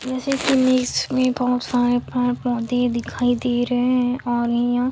जैसे की इमेज में पेड़-पौधे दिख रहा है और यहाँ--